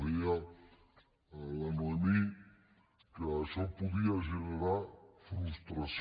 deia la noemí que això podia generar frustració